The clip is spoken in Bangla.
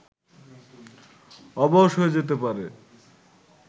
অবশ হয়ে যেতে পারে